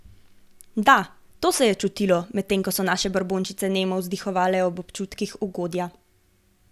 Da, to se je čutilo, medtem ko so naše brbončice nemo vzdihovale ob občutkih ugodja.